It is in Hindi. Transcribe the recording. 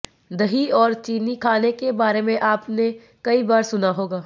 दही और चीनी खाने के बारे में आपने कई बार सुना होगा